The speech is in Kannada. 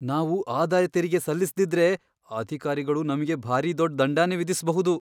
ನಾವು ಆದಾಯ್ ತೆರಿಗೆ ಸಲ್ಲಿಸ್ದಿದ್ರೆ, ಅಧಿಕಾರಿಗಳು ನಮ್ಗೆ ಭಾರೀ ದೊಡ್ಡ್ ದಂಡನೇ ವಿಧಿಸ್ಬಹುದು.